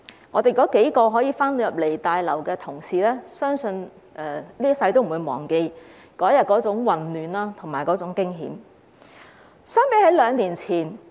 我們數名可以回來大樓的同事，相信這輩子也不會忘記當天的混亂和驚險。